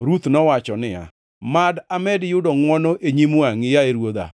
Ruth nowacho niya, “Mad amed yudo ngʼwono e nyim wangʼi, yaye ruodha.